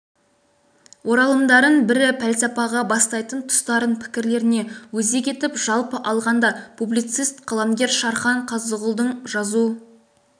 оралымдарын бірі пәлсапаға бастайтын тұстарын пікірлеріне өзек етіп жалпы алғанда публицист қаламгер шархан қазығұлдың жазу